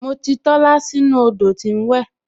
Mo ti Tola sínú odò tí ń wẹ